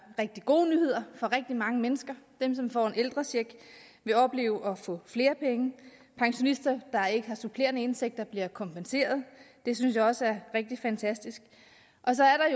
rigtig gode nyhed for rigtig mange mennesker dem som får en ældrecheck vil opleve at få flere penge pensionister der ikke har supplerende indtægter bliver kompenseret det synes jeg også er rigtig fantastisk og så er